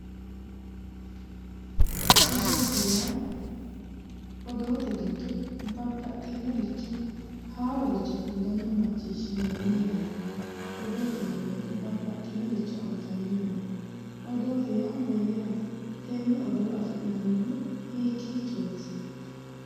Odoote yaa odoote giddo babbaxxinoricho haaroricho kullanna macciishshinanni yaate odoote yineemo woyiite bannaxxinoricho afi'neemmowaati odoote yaa mayyaate? tenne odoo afi'nannihu hiikkichooti?